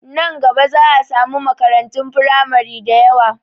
Nan gaba za a samu makarantun firamari dayawa